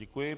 Děkuji.